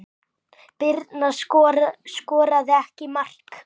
Birna skoraði ekki mark.